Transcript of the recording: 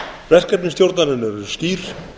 verkefni stjórnarinnar eru skýr